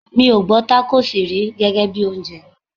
Mi ò gbọ́ Tákósì rí gẹ́gẹ́bí oúnjẹ.